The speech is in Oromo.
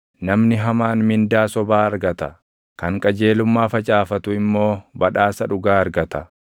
Namni hamaan mindaa sobaa argata; kan qajeelummaa facaafatu immoo badhaasa dhugaa argata.